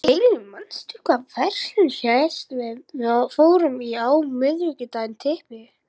Kellý, manstu hvað verslunin hét sem við fórum í á miðvikudaginn?